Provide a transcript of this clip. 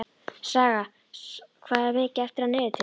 Saga, hvað er mikið eftir af niðurteljaranum?